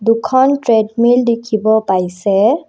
দুখন ট্ৰেডমিল দেখিব পাইছে।